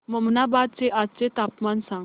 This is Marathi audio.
ममनाबाद चे आजचे तापमान सांग